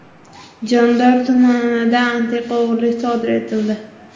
Jondor tumanida antiqa o‘g‘rilik sodir etildi.